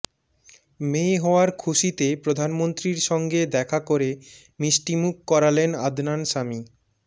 মেয়ে হওয়ার খুশিতে প্রধানমন্ত্রীর সঙ্গে দেখা করে মিষ্টিমুখ করালেন আদনান সামি